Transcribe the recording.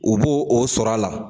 U b'o o sɔrɔ la